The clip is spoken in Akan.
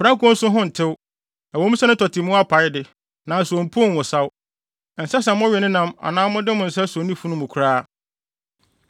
Prako nso ho ntew. Ɛwɔ mu sɛ ne tɔte mu apae de, nanso ompuw nwosaw. Ɛnsɛ sɛ mowe ne nam anaa mode mo nsa so ne funu mu koraa.